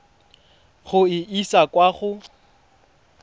go e isa kwa go